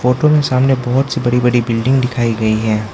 Photo में सामने बहुत सी बड़ी बड़ी बिल्डिंग दिखाई गई हैं।